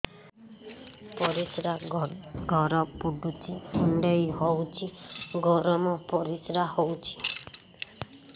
ପରିସ୍ରା ଘର ପୁଡୁଚି କୁଣ୍ଡେଇ ହଉଚି ଗରମ ପରିସ୍ରା ହଉଚି